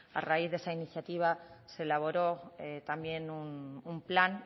a raíz de esa iniciativa se elaboró también un plan